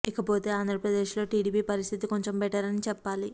ఇకపోతే ఆంధ్రప్రదేశ్ లో టిడిపి పరిస్థితి కొంచెం బెటర్ అని చెప్పాలి